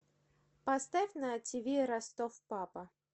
поставь на тиви ростов папа